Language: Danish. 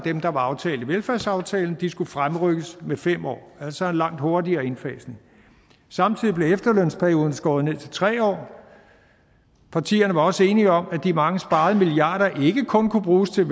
der var aftalt i velfærdsaftalen skulle fremrykkes med fem år altså en langt hurtigere indfasning samtidig blev efterlønsperioden skåret ned til tre år partierne var også enige om at de mange sparede milliarder ikke kun kunne bruges til